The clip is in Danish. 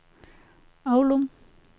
Aulum